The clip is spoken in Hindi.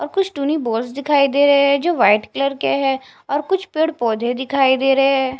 और कुछ तो बस दिखाई दे रहे है जो वाइट कलर के है और कुछ पेड़ पौधे दिखाई दे रहे है।